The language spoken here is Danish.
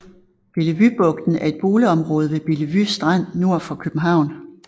Bellevuebugten er et boligområde ved Bellevue Strand nord for København